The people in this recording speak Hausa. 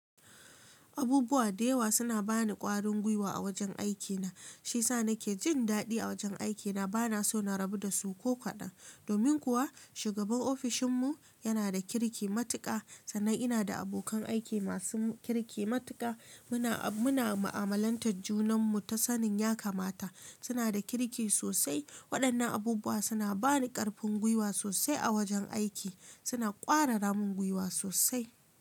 Abubuwa da yawa suna ba ni ƙwarin gwiwa a wajen aikina, shi yasa nake jin daɗi a wajen aikina. Bana so na rabu da su ko kaɗan. Domin kuwa shugaban ofishinmu yana da kirki matuƙa. Sannan ina da abokan aiki masu kirki matuƙa. Muna, muna ma'amalantar junanmu ta sanin ya kamata. Suna da kirki sosai. Waɗannan abubuwa suna ba ni ƙarfin gwiwa sosai a wajen aiki. Suna ƙwararamin gwiwa sosai.